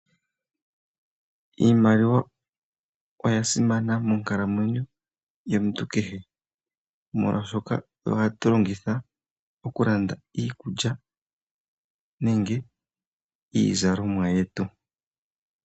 Iimaliwa oya simana monkalamwenyo yomuntu kehe, molwashoka oyo hatu longitha okulanda iikulya nenge iizalomwa yetu.